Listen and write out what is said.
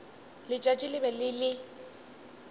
letšatši le be le le